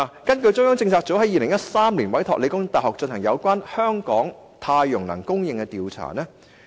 中央政策組在2013年委託香港理工大學進行有關香港太陽能供電的調查。